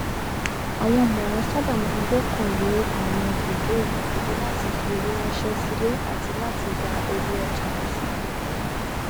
àwọn ọmọràn saábà máa n gbọkànlé àwọn bùdó ìgbàlódé láti fi owó ránṣẹ sílé àti láti gba owó ọjà lásìkò